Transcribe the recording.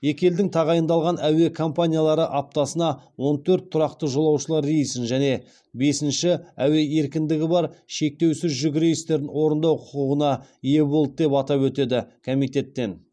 екі елдің тағайындалған әуе компаниялары аптасына он төрт тұрақты жолаушылар рейсін және бесінші әуе еркіндігі бар шектеусіз жүк рейстерін орындау құқығына ие болды деп атап өтеді комитеттен